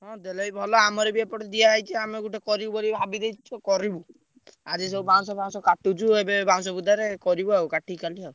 ହଁ ଦେଲେ ବି ଭଲ ଆମର ବି ଏପଟେ ଦିଆହେଇଛି। ଆମେ ଗୋଟେ କରିବୁ ବୋଲି ଭାବିଦେଇଛୁ କରିବୁ। ଆଜି ସବୁ ବାଉଁଶ ଫାଉଁଶ କାଟୁଛୁ ଏବେ ବାଉଁଶ ବୁଦାରେ କରିବି ଆଉ କାଟିକି କାଲି ଆଉ।